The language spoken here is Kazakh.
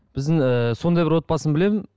біздің ыыы сондай бір отбасын білемін